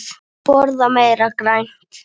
Borða meira grænt.